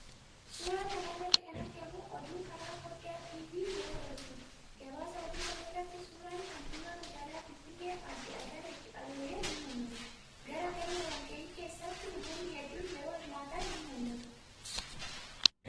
Suuraa kana irratti kan argamu oduun karaa foddaa TV yeroo darbuudha. Gabaasa oduu kana irratti suuraan kantiibaa magaalaa Finfinnee Aadde Adaanech Abeebee ni mul'ata. Galma walgahii keessatti namoonni hedduun yeroo hirmaatan ni mul'ata.